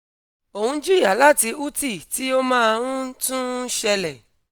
o n jiya lati uti ti o maa n tun n ṣẹlẹ